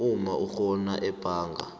umma urhola ebhanga